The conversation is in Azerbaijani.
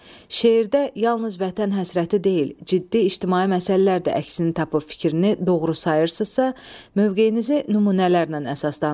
Şeirdə yalnız vətən həsrəti deyil, ciddi ictimai məsələlər də əksini tapıb fikrini doğru sayırsınızsa, mövqeyinizi nümunələrlə əsaslandırın.